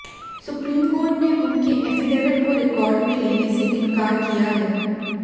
supreme court ने उनके affidavit को रिकॉर्ड में लेने से इनकार किया है